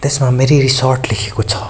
मेरी resort लेखेको छ।